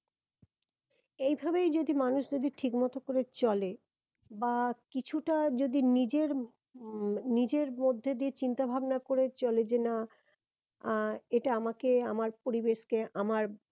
এইভাবেই যদি মানুষ যদি ঠিক মতো করে চলে বা কিছুটা যদি নিজের উম নিজের মধ্যে দিয়ে চিন্তা ভাবনা করে চলে যে না আহ এটা আমাকে আমার পরিবেশকে আমার